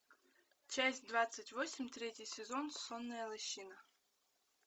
часть двадцать восемь третий сезон сонная лощина